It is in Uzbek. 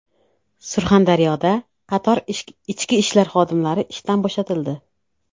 Surxondaryoda qator ichki ishlar xodimlari ishdan bo‘shatildi .